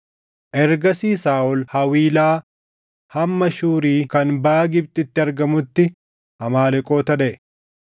Ergasii Saaʼol Hawiilaa hamma Shuuri kan baʼa Gibxiitti argamuutti Amaaleqoota dhaʼe.